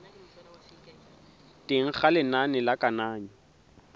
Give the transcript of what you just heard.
teng ga lenane la kananyo